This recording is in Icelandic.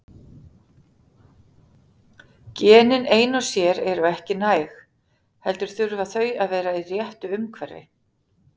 Genin ein og sér eru ekki næg, heldur þurfa þau að vera í réttu umhverfi.